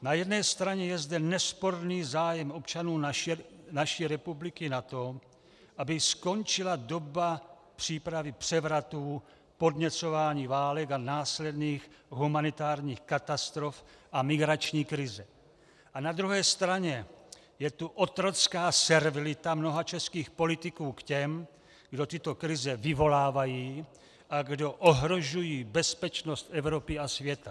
Na jedné straně je zde nesporný zájem občanů naší republiky na tom, aby skončila doba přípravy převratů, podněcování válek a následných humanitárních katastrof a migrační krize, a na druhé straně je tu otrocká servilita mnoha českých politiků k těm, kdo tyto krize vyvolávají a kdo ohrožují bezpečnost Evropy a světa.